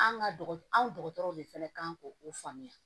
An ka dɔgɔ anw dɔgɔtɔrɔw de fana kan k'o faamuya